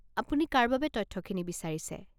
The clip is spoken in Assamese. আপুনি কাৰ বাবে তথ্যখিনি বিচাৰিছে?